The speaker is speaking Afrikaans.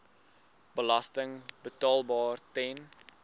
belasting betaalbaar ten